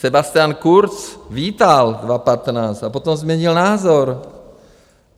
Sebastian Kurz vítal 2015 a potom změnil názor.